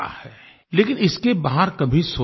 लेकिन इसके बाहर कभी सोचा नहीं गया